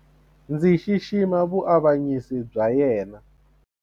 Ndzi xixima vuavanyisi bya yena.